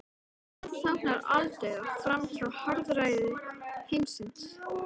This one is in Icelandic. Þetta táknar aldauða frá harðræði heimsins.